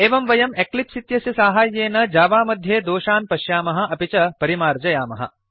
एवं वयम् एक्लिप्स् इत्यस्य साहाय्येन जावा मध्ये दोषान् पश्यामः अपि च परिमार्जयामः